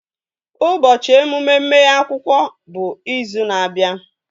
Ụbọchị emume mmeghe akwụkwọ bụ izu na-abịa